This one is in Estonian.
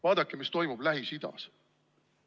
Vaadake, mis toimub Lähis-Idas.